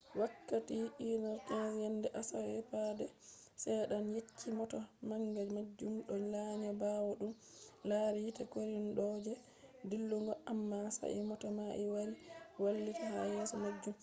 wakkati 1:15 a.m. yende asawe no seeda'en yecci mota manga majum do lanya bawo dum lari yite korino je dillugo amma sai mota mai wari wailiti ha yeso majum